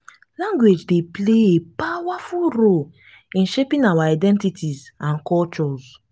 language dey play a powerful role in shaping our identities and cultures.